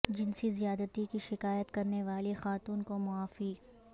جنسی زیادتی کی شکایت کرنے والی خاتون کو معافی